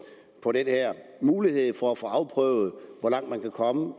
på den her mulighed for at få afprøvet hvor langt man kan komme